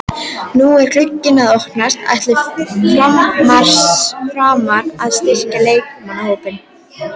Nú er glugginn að opnast, ætla Framarar að styrkja leikmannahópinn?